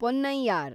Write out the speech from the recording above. Ponnaiyar